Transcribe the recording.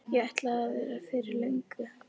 Ég ætlaði að vera fyrir löngu.